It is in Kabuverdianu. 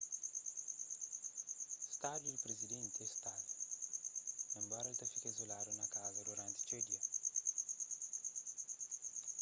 stadu di prizidenti é istável enbora el ta fika izuladu na kaza duranti txeu dia